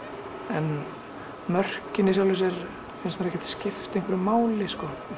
en mörkin í sjálfu sér finnst mér ekki skipta einhverju máli